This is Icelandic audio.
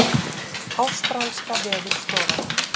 Ástralska veðurstofan